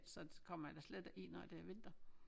Så kommer jeg da slet ikke i når det er vinter